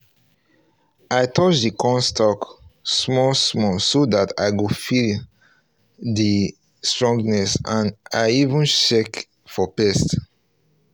i touch the corn stalk small small so that i go feel um the um strongness and i even check um for pest